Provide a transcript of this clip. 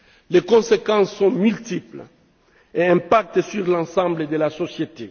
Les conséquences sont multiples et influent sur l'ensemble de la société.